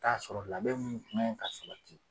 t'a sɔrɔ labɛn munnu kan ka sabati.